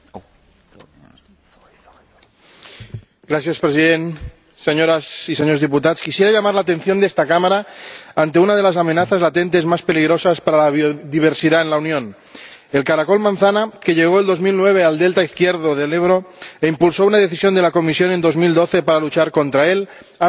Señor Presidente, señoras y señores diputados, quisiera llamar la atención de esta Cámara ante una de las amenazas latentes más peligrosas para la biodiversidad en la Unión el caracol manzana, que llegó el año 2009 al delta izquierdo del Ebro e impulsó una decisión de la Comisión en 2012 para luchar contra él, ha ampliado su zona de puesta.